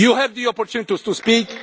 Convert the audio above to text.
You had the opportunity to speak.